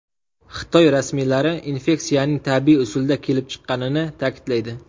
Xitoy rasmiylari infeksiyaning tabiiy usulda kelib chiqqanini ta’kidlaydi .